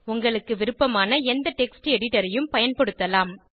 உங்களுக்கு விருப்பமான எந்த டெக்ஸ்ட் எடிட்டர் ஐயும் பயன்படுத்தலாம்